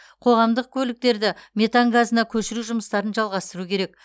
қоғамдық көліктерді метан газына көшіру жұмыстарын жалғастыру керек